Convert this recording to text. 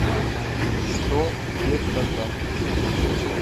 найди что где когда